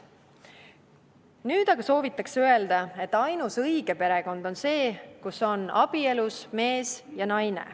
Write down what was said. Nüüd aga soovitakse öelda, et ainus õige perekond on see, kus on abielus mees ja naine.